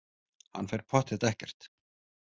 Hann fer pottþétt ekkert.